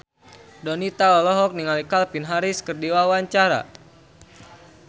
Donita olohok ningali Calvin Harris keur diwawancara